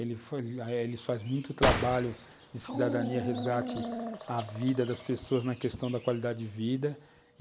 Ele foi eh, ele faz muito trabalho de cidadania resgate à vida das pessoas na questão da qualidade de vida.